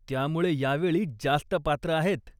त्यामुळे यावेळी जास्त पात्र आहेत.